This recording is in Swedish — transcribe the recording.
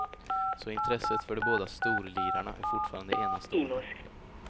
Så intresset för de båda storlirarna är fortfarande enastående.